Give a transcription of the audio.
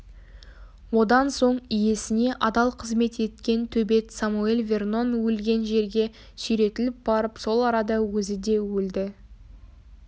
одан соң иесіне адал қызмет еткен төбет самоэль вернон өлген жерге сүйретіліп барып сол арада өзі де өлді